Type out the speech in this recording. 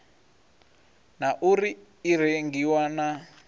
na uri i rengiwa na